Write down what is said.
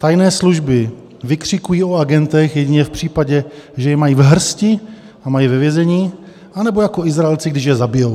Tajné služby vykřikují o agentech jedině v případě, že je mají v hrsti, mají je ve vězení, anebo jako Izraelci, když je zabijí.